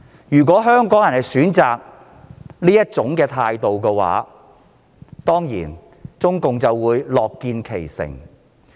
如香港人選擇這種態度的話，中共當然樂見其成。